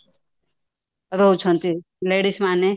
ରହୁଛନ୍ତି ladies ମାନେ